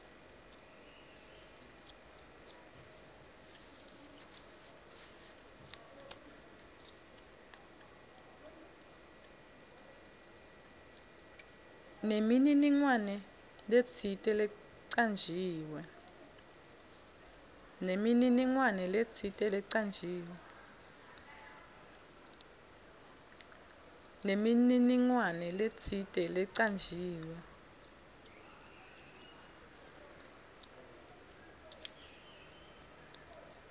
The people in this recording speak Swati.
nemininingwane letsite lecanjiwe